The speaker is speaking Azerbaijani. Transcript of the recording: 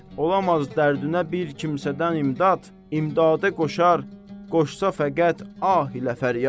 Olamaz dərdinə bir kimsədən imdad, imdada qoşar qoşsa fəqət ah ilə fəryad.